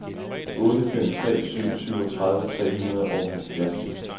otte fem tre syv syvogtredive tre hundrede og halvfjerds